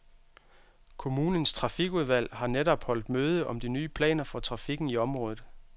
Kommunens trafikudvalg har netop holdt møde om de nye planer for trafikken i området.